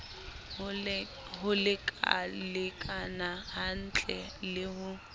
ho lekalekana hantle le ho